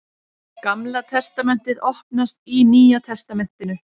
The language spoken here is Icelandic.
Gamla testamentið opnast í Nýja testamentinu.